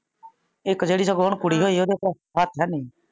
ਇਕ ਜਿਹੜੀ ਸਗੋਂ ਹੁਣ ਕੁੜੀ ਹੋਈ ਆ ਉਂਦਾ ਤਾ ਹੱਥ ਹੇਨੀ।